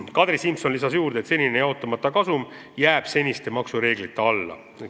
Kadri Simson lisas juurde, et senine jaotamata kasum jääb seniste maksureeglite alla.